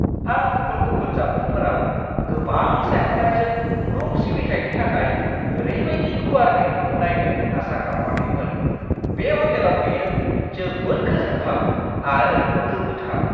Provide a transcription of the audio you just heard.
आं गुबुन-गुबुन जामुंफोराव गोबां सायख'नायजों रुम सिबिथायनि थाखाय ओरैबायदि गुवार मेनुखौ नायनो आसा खालामाखैमोन। बे ह'टेलाव बेयो जोबोद गोजोनथाव आरो गोमोथाव!